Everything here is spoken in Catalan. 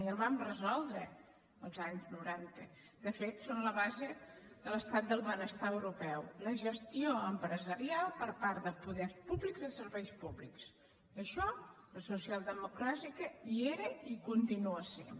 i el vam resoldre als anys noranta de fet són la base de l’estat del benestar europeu la gestió empresarial per part de poders públics de serveis públics en això la socialdemocràcia hi era i hi continua sent